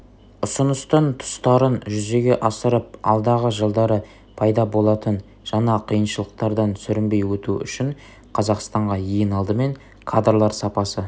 ұсыныстын тұстарын жүзеге асырып алдағы жылдары пайда болатын жаңа қиыншылықтардан сүрінбей өту үшін қазақстанға ең алдымен кадрлар сапасы